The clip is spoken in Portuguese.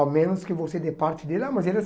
Ao menos que você dê parte dele. Ah mas ele é